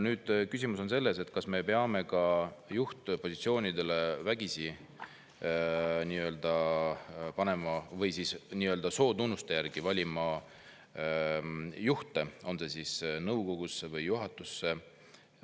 Aga küsimus on selles, kas me peame panema juhtpositsioonidele nii-öelda vägisi, nii-öelda sootunnuste järgi valima juhte nõukogusse või juhatusse.